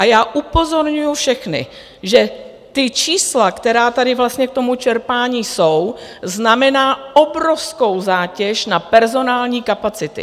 A já upozorňuji všechny, že ta čísla, která tady vlastně k tomu čerpání jsou, znamenají obrovskou zátěž na personální kapacity.